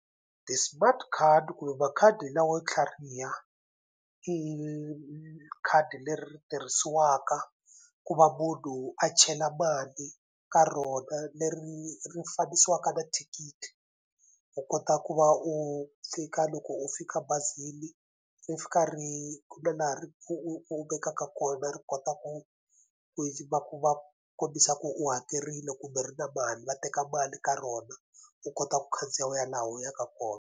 Ti-smart card kumbe makhadi lawo tlhariha i khadi leri tirhisiwaka ku va munhu a chela mali ka rona leri ri fanisiwaka na thikithi u kota ku va u fika loko u fika bazini ri fika ri ku na laha ri u u vekaka kona ri kota ku ku va ku va kombisa ku u hakerile kumbe ri na mali va teka mali ka rona u kota ku khandziya u ya laha u yaka kona.